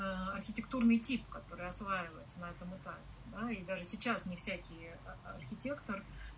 архитектурный тип который осваивается на этом этапе да и даже сейчас не всякий архитектор